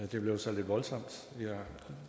det blev så lidt voldsomt jeg